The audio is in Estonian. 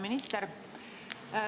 Minister!